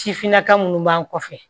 Sifinnaka minnu b'an kɔfɛ